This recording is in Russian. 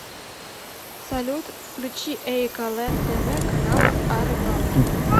салют включи эиколэнд тэ вэ канала о рыбалке